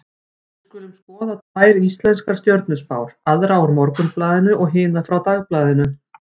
Við skulum skoða tvær íslenskar stjörnuspár, aðra úr Morgunblaðinu og hina frá Dagblaðinu.